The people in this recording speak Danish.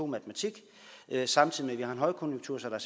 matematik samtidig med at vi har en højkonjunktur så der